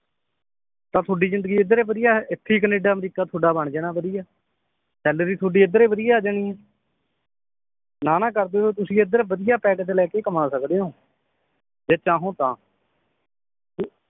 ਤਾਂ ਤੁਹਾਡੀ ਜਿੰਦਗੀ ਏਧਰ ਵਧੀਆ ਏ ਇਥੇ ਈ ਕਨੇਡਾ ਅਮਰੀਕਾ ਬਣ ਜਾਣਾ ਤੁਹਾਡਾ ਵਧੀਆ ਸੈਲਰੀ ਤੁਹਾਡੀ ਏਧਰ ਵਧੀਆ ਆਜਾਣੀ ਏ ਨਾ ਨਾ ਕਰਦੇ ਹੋਏ ਤੁਸੀਂ ਏਧਰ ਵਧੀਆ ਪੈਕੇਜ ਲੈਕੇ ਕਮਾ ਸਕਦੇ ਓਂ ਜੇ ਚਾਹੋ ਤਾਂ